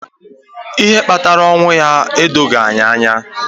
Ihe kpatara ọnwụ ya edoghi anyị anya.